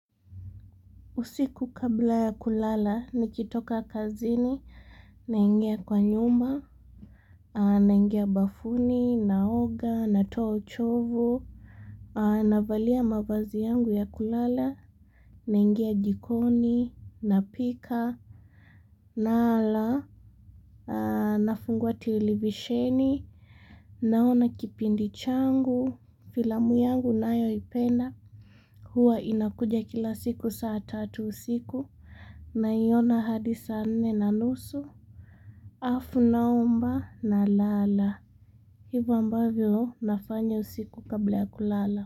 Usiku kabla ya kulala, nikitoka kazini, naingia kwa nyumba, naingia bafuni, naoga, natuo uchovu, navalia mavazi yangu ya kulala, naingia jikoni, napika, nala, nafungua televisheni, naona kipindi changu, filamu yangu nayoipenda. Hua inakuja kila siku saa tatu usiku, naiona hadi saa nne na nusu. Alafu naomba nalala. Hivo ambavyo nafanya usiku kabla ya kulala.